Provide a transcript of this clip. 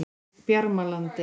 Bjarmalandi